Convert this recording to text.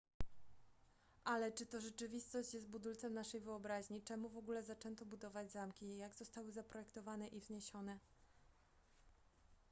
ale czy to rzeczywistość jest budulcem naszej wyobraźni czemu w ogóle zaczęto budować zamki jak zostały zaprojektowane i wzniesione